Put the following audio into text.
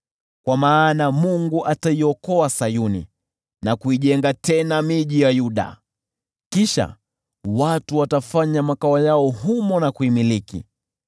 kwa maana Mungu ataiokoa Sayuni na kuijenga tena miji ya Yuda. Kisha watu watafanya makao yao humo na kuimiliki,